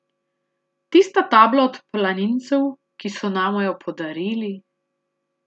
Tista tabla od planincev, ki so nama jo podarili ...